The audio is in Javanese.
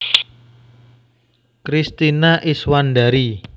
Kristina Iswandari